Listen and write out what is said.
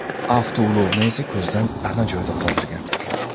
Avtoulovni esa ko‘zdan pana joyda qoldirgan.